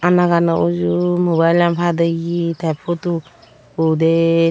anagano uju mobile lan padiye te pudu ekko uder.